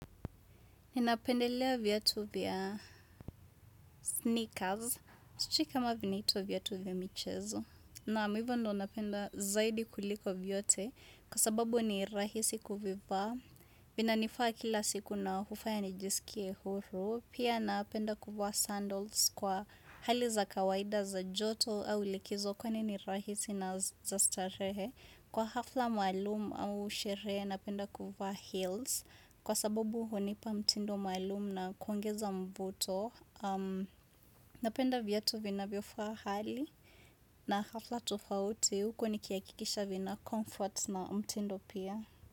Ninapendelea viatu vya sneakers. Sijui kama vinaitwa viatu vya michezo Naam hivyo ndo napenda zaidi kuliko vyote. Kwa sababu ni rahisi kuvivaa. Vina nifaa kila siku na hufaya nijiskie huru. Pia napenda kuvaa sandals kwa hali za kawaida za joto. Au likizo kwani ni rahisi na za starehe. Kwa hafla maalum au sherehe napenda kuvaa heels. Kwa sababu hunipa mtindo maalum na kuongeza mvoto Napenda vyatu vinavyofahali na hafla tofauti huko nikihakikisha vina comfort na mtindo pia.